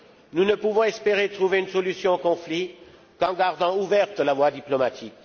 Nous ne pouvons espérer trouver une solution au conflit qu'en gardant ouverte la voie diplomatique.